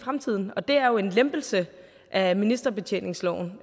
fremtiden og det er jo en lempelse af ministerbetjeningsreglen